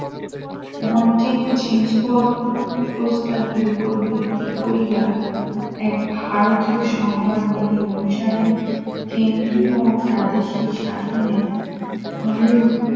মন থেকে চেঞ্জ পর প্রস্তাবের উপর ভিত্তি করিয়া এক ভারতীয় সংবাদ বিধি অনুসারে কেন্দ্রীয় প্রাদেশিক শাসনের